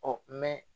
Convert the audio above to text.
Ɔ